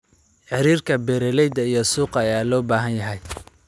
Xiriirka beeralayda iyo suuqa ayaa loo baahan yahay.